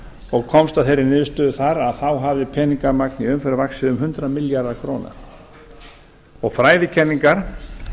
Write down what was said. og komst að þeirri niðurstöðu þar að þá hafði peningamagn í umferð vaxið um hundrað milljarða króna og fræðikenningar